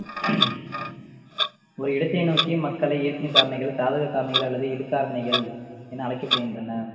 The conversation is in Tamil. ஒரு இடத்தை நோக்கி மக்களை ஈர்க்கும் காரணிகள் சாதக காரணிகள் அல்லது இழுக்காரணிகள் என அழைக்கப்படுகின்றன